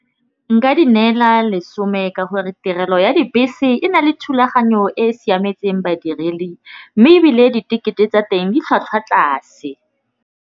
Nka di neela lesome ka gore tirelo ya dibese e na le thulaganyo e siametseng badiredi, mme ebile ditekete tsa teng di tlhwatlhwa tlase.